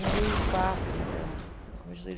dois mil e quatro então